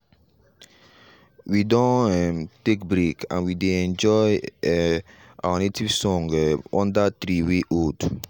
we don um take break and we dey enjoy um our native song um under tree wey old.